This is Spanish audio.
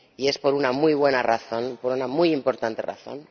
Y es por una muy buena razón, por una muy importante razón.